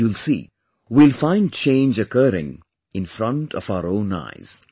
You'll see, we will find change occurring in front of our own eyes